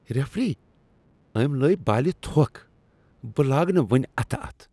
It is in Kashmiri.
ریفری، أمۍ لٲے بالِہ تھوٚکھ۔ بہٕ لاگہ نہٕ وۄنۍ اتھ اتھٕ۔